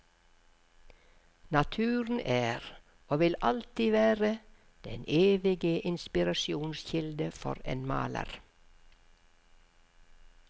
Naturen er, og vil alltid være, den evige inspirasjonskilde for en maler.